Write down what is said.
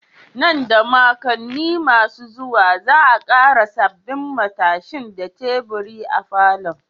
Nan da makonni masu zuwa, za'a ƙara sabbin matashin da teburi a falon.